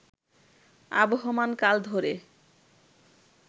আবহমান কাল ধরে